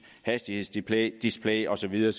hastighedsdisplay og så videre